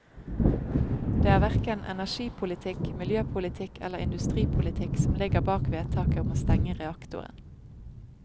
Det er hverken energipolitikk, miljøpolitikk eller industripolitikk som ligger bak vedtaket om å stenge reaktoren.